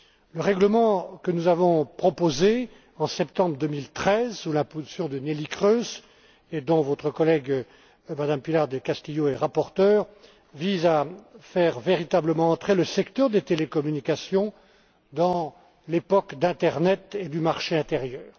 Le règlement que nous avons proposé, en septembre 2013, sous l'impulsion de Neelie Kroes, et dont votre collègue, Mme Pilar del Castillo est rapporteure, vise à faire véritablement entrer le secteur des télécommunications dans l'époque de l'internet et du marché intérieur.